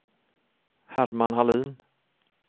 Herman Hallin